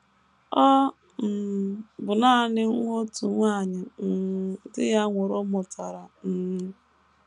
Ọ um bụ nanị nwa otu nwanyị um di ya nwụrụ mụtara um.